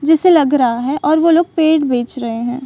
जिसे लग रहा है और वो लोग पेड़ बेच रहे हैं।